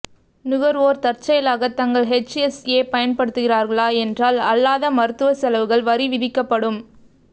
நுகர்வோர் தற்செயலாக தங்கள் ஹெச்எஸ்ஏ பயன்படுத்துகிறார்களா என்றால் அல்லாத மருத்துவ செலவுகள் வரி விதிக்கப்படும்